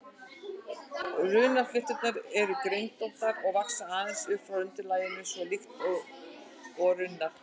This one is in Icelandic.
Runnaflétturnar eru greinóttar og vaxa aðeins upp frá undirlaginu, svona líkt og runnar.